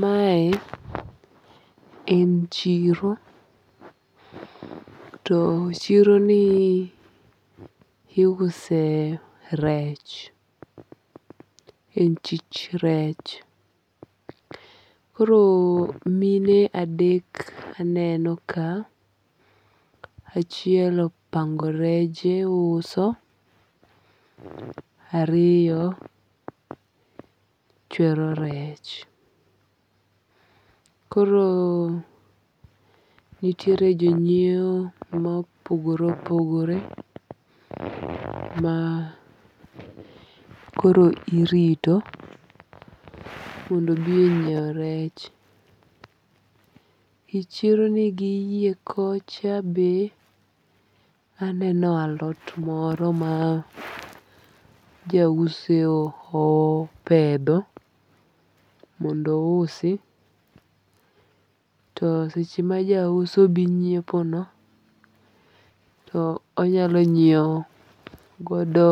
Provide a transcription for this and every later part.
Mae en chiro. To chiro ni iuse rech. En chich rech. Koro mine adek aneno ka. Achiel opango reje uso. Ariyo chwero rech. Koro nitiere jonyiew mopogore opogore ma koro irito mondo obi onyiew rech. E chiro ni gi yie kocha be aneno alot moro ma ja uso opedho mondo ousi. To seche ma ja uso dhi nyiepo no to onyalo nyiew godo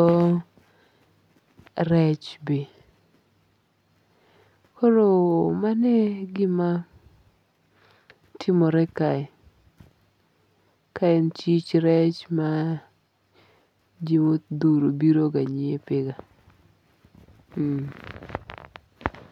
rech be. Koro mano egima timore kae. Ka en chich rech ma ji modhuro bire ga nyiepe ga.